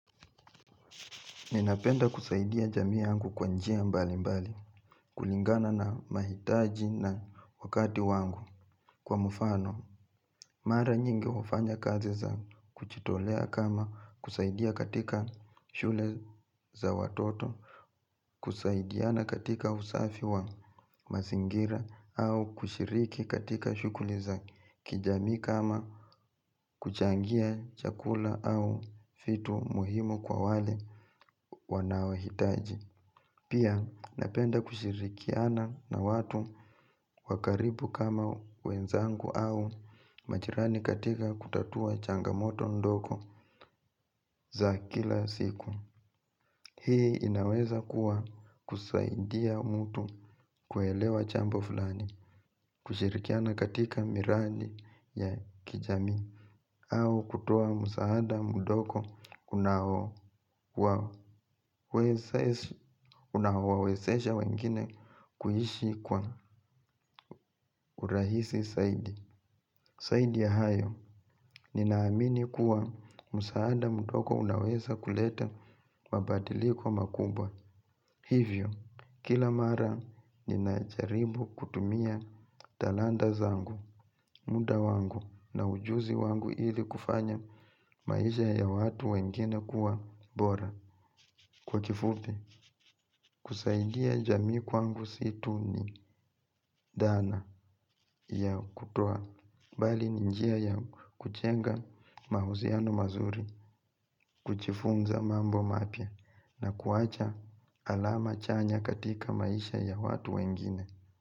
Ninapenda kusaidia jamii yangu kwa njia mbali mbali, kulingana na mahitaji na wakati wangu kwa mfano. Mara nyingi wafanya kazi za kujitolea kama kusaidia katika shule za watoto, kusaidiana katika usafi wa mazingira au kushiriki katika shughuli za kijamii kama kuchangia chakula au vitu muhimu kwa wale wanaohitaji. Pia napenda kushirikiana na watu wa karibu kama wenzangu au majirani katika kutatua changamoto ndogo za kila siku. Hii inaweza kuwa kusaidia mtu kuelewa jambo fulani. Kushirikiana katika miradi ya kijamii au kutoa msaada mdogo unaowawezesha wengine kuishi kwa urahisi zaidi zaidi ya hayo, ninaamini kuwa msaada mdogo unaweza kuleta mabadiliko makubwa. Hivyo, kila mara ninajaribu kutumia talanta zangu muda wangu na ujuzi wangu ili kufanya maisha ya watu wengine kuwa bora. Kwa kifupi, kusaidia jamii kwangu si tu ni dhana ya kutoa bali ni njia ya kujenga mahusiano mazuri, kujifunza mambo mapya na kuwacha alama chanya katika maisha ya watu wengine.